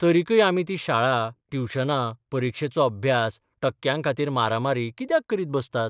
तरिकय आमी ती शाळा, ट्युशनां, परिक्षेचो अभ्यास, टक्क्यांखातीर मारामारी कित्याक करीत बसतात?